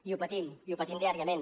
i ho patim i ho patim diàriament